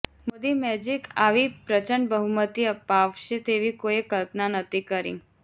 Modi magic આવી પ્રચંડ બહુમતી અપાવશે તેવી કોઈએ કલ્પના નહતી કરી